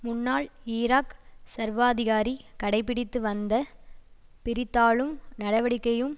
முன்னாள் ஈராக் சர்வாதிகாரி கடைப்பிடித்து வந்த பிரித்தாளும் நடவடிக்கையும்